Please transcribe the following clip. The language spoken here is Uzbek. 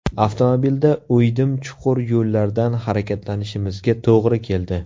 Avtomobilda o‘ydim-chuqur yo‘llardan harakatlanishimizga to‘g‘ri keldi.